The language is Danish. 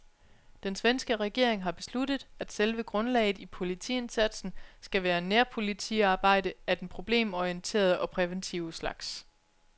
Den svenske regering har besluttet, at selve grundlaget i politiindsatsen skal være nærpolitiarbejde af den problemorienterede og præventive slags.